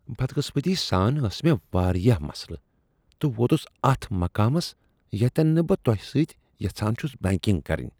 بدقٕسمتی سان ٲس مےٚ واریاہ مسلہٕ تہٕ ووتُس اتھ مقامس ییتِین نہٕ بہٕ تۄہِہ سۭتۍ یژھان چھس بیکِنگ کرٕنۍ۔